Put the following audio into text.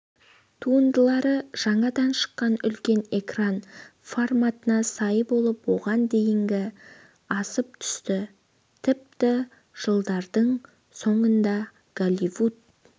туындылары жаңадан шыққан үлкен экран форматына сай болып оған дейінгі асып түсті тіпті жылдардың соңында голливуд